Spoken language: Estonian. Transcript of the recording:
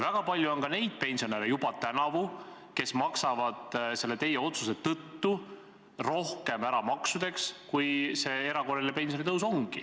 Väga palju on juba tänavu neid pensionäre, kes maksavad teie otsuse tõttu maksudeks rohkem ära, kui see erakorraline pensionitõus on.